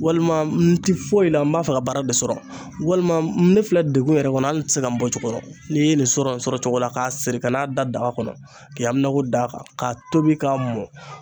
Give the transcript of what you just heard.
Walima n te foyi la n b'a fɛ ka baara de sɔrɔ walima ne filɛ degun yɛrɛ kɔnɔ ali n te se ka n bɔcogo dɔn n'i ye nin sɔrɔ sɔrɔ cogo la k'a siri ka n'a da daga kɔnɔ k'i hakilaw da a kan k'a tobi k'a mɔn